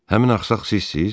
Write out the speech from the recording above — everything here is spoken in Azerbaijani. Həmin axsaq sizsiz?